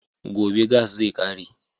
Gobe gas zai ƙare